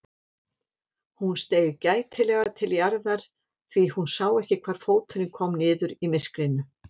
Hún steig gætilega til jarðar því hún sá ekki hvar fóturinn kom niður í myrkrinu.